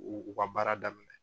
U ka baara daminɛ.